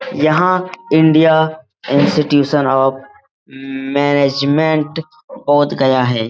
यहां Indian Institute of Management Bodhgaya है।